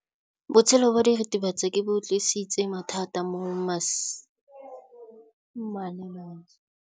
Botshelo jwa diritibatsi ke bo tlisitse mathata mo basimaneng ba bantsi.